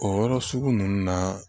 O yɔrɔ sugu nunnu na